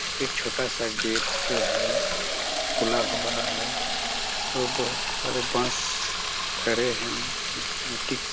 एक छोटा सा गेट जो है खुला हुआ है और बहुत सारे बांस खड़े है मिट्टी--